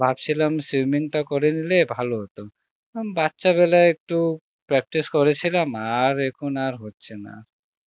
ভাবছিলাম swimming টা করে নিলে ভালো হত আম বাচ্চা বেলায় একটু practice করেছিলাম আর এখন আর হচ্ছে না